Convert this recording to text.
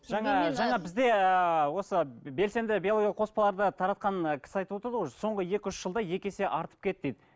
жаңа жаңа бізде ыыы осы белсенді биологиялық қоспаларды таратқан ііі кісі айтып отырды ғой соңғы екі үш жылда екі есе артып кетті дейді